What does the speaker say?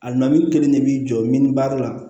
A namini kelen de b'i jɔ min baara la